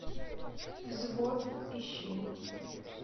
взвод ищи